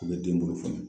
U bɛ den bolo fa